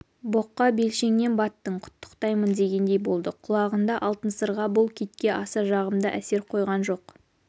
боққа белшеңнен баттың құттықтаймын дегендей болды құлағында алтын сырға бұл китке аса жағымды әсер қойған жоқ